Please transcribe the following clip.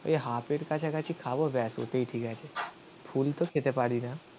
ওই হাফের কাছাকাছি খাবো ব্যাস. ওটাই ঠিক আছে. ফুল তো খেতে পারি না.